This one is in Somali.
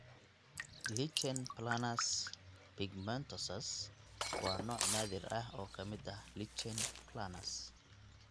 Lichen planus pigmentosus (LPP) waa nooc naadir ah oo ka mid ah lichen planus.